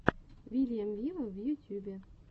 вильям виво в ютюбе